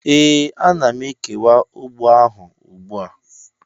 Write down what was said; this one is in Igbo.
ee, ana m ekewa ugbo ahụ ugbu a.